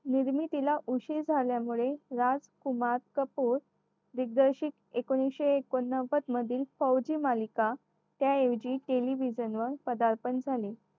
निर्मितीला उशीर झाल्यामुळे राजकुमार कपूर दिग्दर्शित एकोणविशे एकोण नव्वद मधील फौजी मालिका त्याऐवजी television वर पदार्पण झाली.